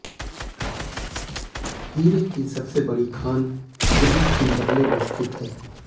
हीरे की सबसे बड़ी खान यहीं किंबरले में स्थित है